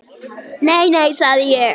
Nei, nei, sagði ég.